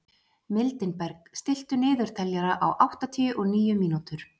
Mildinberg, stilltu niðurteljara á áttatíu og níu mínútur.